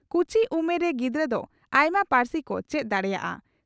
ᱠᱩᱪᱤ ᱩᱢᱮᱨ ᱨᱮ ᱜᱤᱫᱽᱨᱟᱹ ᱫᱚ ᱟᱭᱢᱟ ᱯᱟᱹᱨᱥᱤ ᱠᱚ ᱪᱮᱫ ᱫᱟᱲᱮᱭᱟᱜᱼᱟ ᱾